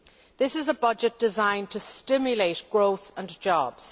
This is a budget designed to stimulate growth and jobs.